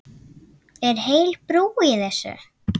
Er heil brú í þessu?